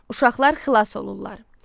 Uşaqlar xilas olurlar.